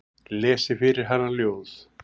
Lesi fyrir hana ljóð.